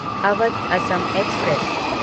Awadh Assam express